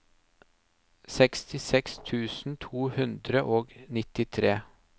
sekstiseks tusen to hundre og nittitre